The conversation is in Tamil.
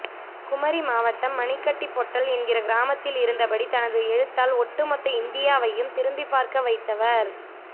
குமரி மாவட்டம் மணிக்கட்டிப் பொட்டல் என்கிற கிராமத்தில் இருந்தபடி தனது எழுத்தால் ஒட்டுமொத்த இந்தியாவையும் திரும்பிப் பார்க்க வைத்தவர்